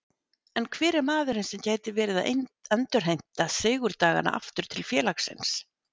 En hver er maðurinn sem gæti verið að endurheimta sigurdagana aftur til félagsins?